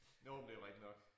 Jo men det jo rigtigt nok